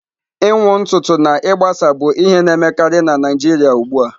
Ịnwụ ntutu na ịgbasa bụ ihe a na-emekarị na Naijiria ugbu a.